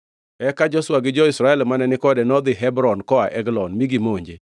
Eka Joshua gi jo-Israel mane ni kode nodhi Hebron koa Eglon, mi gimonje.